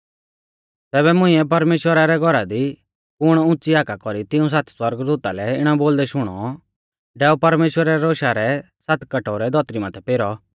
तैबै मुंइऐ परमेश्‍वरा रै घौरा दी कुण उंच़ी हाका कौरी तिऊं सात सौरगदूता लै इणौ बोलदै शुणौ डैऔ परमेश्‍वरा रै रोशा रै सात कटोरै धौतरी माथै पेरौ